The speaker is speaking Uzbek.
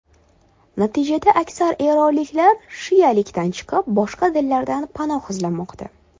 Natijada, aksar eronliklar shialikdan chiqib, boshqa dinlardan panoh izlamoqda.